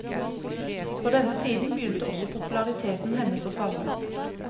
På denne tiden begynte også populariteten hennes å falle.